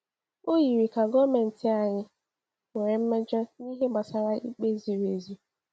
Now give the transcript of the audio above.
O yiri ka gọọmentị anyị nwere mmejọ n’ihe gbasara ikpe ziri ezi.